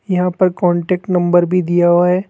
यहां पर contact number भी दिया हुआ हैं।